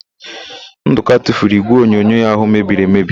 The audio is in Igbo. Ndụka tufuru ígwèonyonyo ya ahụ mebiri emebi.